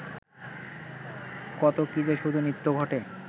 কত কী-যে শুধু নিত্য ঘটে